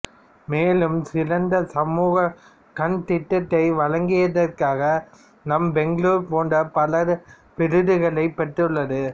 மேலும் சிறந்த சமூக கண் திட்டத்தை வழங்கியதற்காக நம்ம பெங்களூரு போன்ற பல விருதுகளைப் பெற்றுள்ளது